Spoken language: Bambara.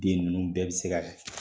Den ninnu bɛɛ bɛ se ka